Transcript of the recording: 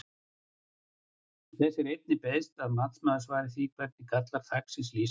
Þess er einnig beiðst að matsmaður svari því hvernig gallar þaksins lýsa sér?